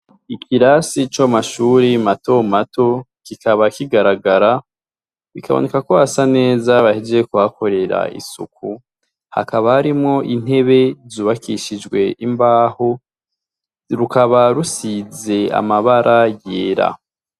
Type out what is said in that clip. Ikirasi co ku mashuri matomato kikaba kigaragara bikaboneka ko hasa neza bahejeje kuhakorera isuku hakaba harimwo intebe zubakishijwe n'imbaho rukaba rusize amabara yera .